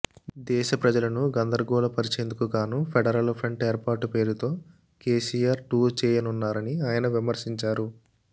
దేశ ప్రజలను గందరగోళపర్చేందుకు గాను ఫెడరల్ ఫ్రంట్ ఏర్పాటు పేరుతో కేసీఆర్ టూర్ చేయనున్నారని ఆయన విమర్శించారు